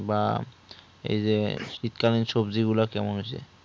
বা এই যে শীতকালীন সবজি গুলা কেমন হয়েছে